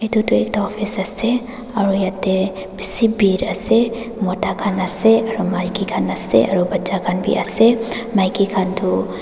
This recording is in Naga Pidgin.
edu tu ekta office ase aro yatae bishi bhir ase mota khan ase aro maki khan ase aru bacha khan bi ase maki khan tu--